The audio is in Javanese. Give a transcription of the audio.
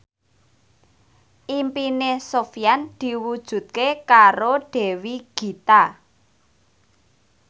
impine Sofyan diwujudke karo Dewi Gita